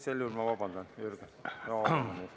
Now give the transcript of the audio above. Sel juhul ma palun vabandust, Jürgen!